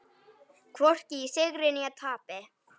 Hvorki í sigri né tapi.